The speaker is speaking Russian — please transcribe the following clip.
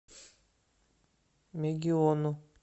мегиону